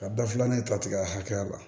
Ka da filanan in ta tigɛ hakɛya la